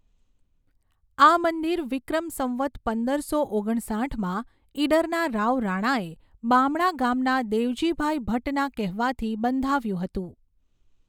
આ મંદિર વિક્રમ સંવત પંદરસો ઓગણસાઠમાં ઇડરના રાવ રાણાએ બામણા ગામના દેવજીભાઈ ભટૃના કહેવાથી બંધાવ્યું હતું.